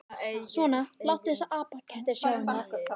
Svona, láttu þessa apaketti sjá það.